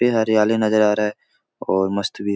काफी हरियाली नज़र आ रहा है और मस्त भी --